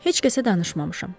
Heç kəsə danışmamışam.